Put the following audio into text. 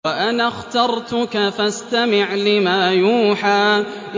وَأَنَا اخْتَرْتُكَ فَاسْتَمِعْ لِمَا يُوحَىٰ